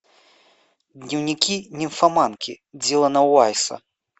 дневники нимфоманки диллана уайса